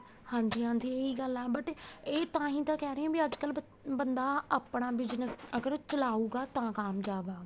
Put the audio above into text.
ਹਾਂਜੀ ਹਾਂਜੀ ਇਹੀ ਗੱਲ ਆ but ਏ ਤਾਂਹੀ ਤਾਂ ਕਹਿ ਰਹੇ ਆ ਵੀ ਅੱਜਕਲ ਬੱਚੇ ਬੰਦਾ ਆਪਣਾ bigness ਅਗਰ ਉਹ ਚ੍ਲਾਉਗਾ ਤਾਂ ਕਾਮਯਾਬ ਆ